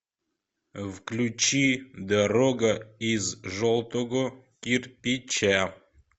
включи дорога из желтого кирпича